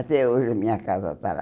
Até hoje a minha casa está lá.